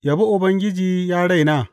Yabi Ubangiji, ya raina.